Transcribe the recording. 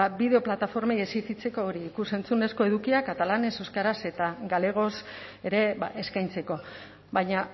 bideo plataformei exijitzeko hori ikus entzunezko edukiak katalanez euskaraz eta galegoz ere eskaintzeko baina